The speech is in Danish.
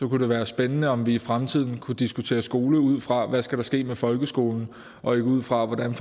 det være spændende om vi i fremtiden kunne diskutere skole ud fra hvad der skal ske med folkeskolen og ikke ud fra hvordan